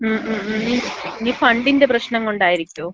മ്മ് മ്മ്. ഇനി ഫണ്ടിന്‍റെ പ്രശ്നം കൊണ്ടായിരിക്കോ?